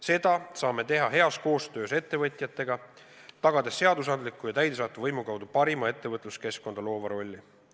Seda saame teha heas koostöös ettevõtjatega, tagades seadusandliku ja täidesaatva võimu kaudu parima ettevõtluskeskkonda loova rolli.